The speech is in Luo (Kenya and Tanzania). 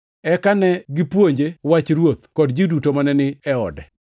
Eka ne gipuonje Wach Ruoth, kod ji duto mane ni e ode.